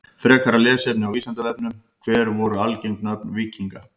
Frekara lesefni á Vísindavefnum: Hver voru algeng nöfn víkinga?